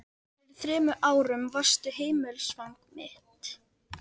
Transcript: Sigurður hafði sigur á endanum með fulltingi sýslumannsins.